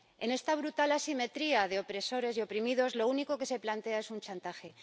En esta brutal asimetría de opresores y oprimidos, lo único que se plantea es un chantaje.